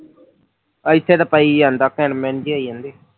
ਇੱਥੇ ਤਾਂ ਪਈ ਜਾਂਦਾ ਘਿਣਮਿਣ ਜਿਹੀ ਹੋਈ ਜਾਂਦੀ